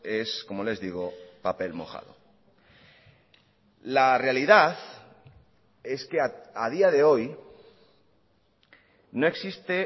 es como les digo papel mojado la realidad es que a día de hoy no existe